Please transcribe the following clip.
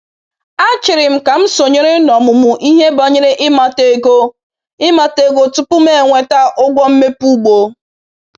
A chịrị m ka m sonyere n’ọmụmụ ihe banyere ịmata ego ịmata ego tupu m enweta ụgwọ mmepe ugbo